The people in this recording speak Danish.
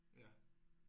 Ja